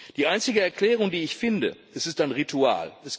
Die einzige Erklärung, die ich finde Es ist ein Ritual.